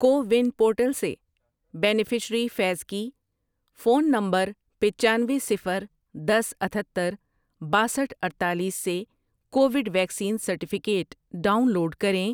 CoWIN portal سے beneficiary فیض کی، فون نمبرپچانوے، صفر، دس، اتھتر، باسٹھ ،اڈتالیس سے Covid vaccine certificate download کریں۔